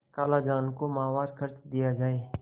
खालाजान को माहवार खर्च दिया जाय